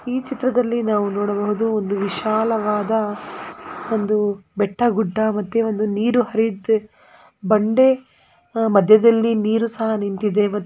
ಈ ಚಿತ್ರದಲ್ಲಿ ನಾವು ನೋಡಬಹುದು ಒಂದು ವಿಶಾಲವಾದ ಒಂದು ಬೆಟ್ಟ ಗುಡ್ಡ ಮತ್ತೆ ಒಂದು ನೀರು ಹರಿಯುತ್ತಿ ಬಂಡೆ ಮದ್ಯದಲ್ಲಿ ನೀರು ಸಹ್‌ ನಿಂತಿದೆ .